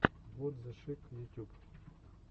вот зе шик ютюб